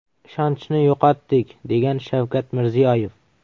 Ishonchni yo‘qotdik”, degan Shavkat Mirziyoyev.